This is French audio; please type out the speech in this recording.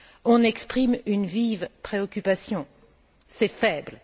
On exprime une vive préoccupation. C'est faible.